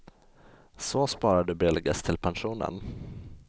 Så sparar du billigast till pensionen.